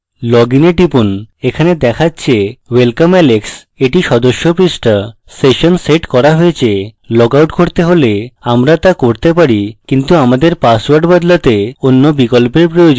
loginwe টিপুন এটি দেখাচ্ছে welcome alex এটি সদস্য পৃষ্ঠা session set করা হয়েছে log out করতে হলে আমরা তা করতে পারি কিন্তু আমাদের পাসওয়ার্ড বদলাতে অন্য বিকল্পের প্রয়োজন